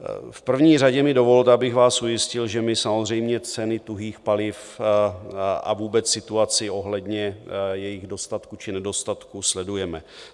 V první řadě mi dovolte, abych vás ujistil, že my samozřejmě ceny tuhých paliv a vůbec situaci ohledně jejich dostatku či nedostatku sledujeme.